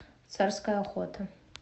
царская охота